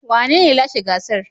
Wanene ya lashe gasar.